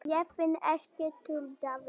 Ég finn ekkert, tuldraði ég.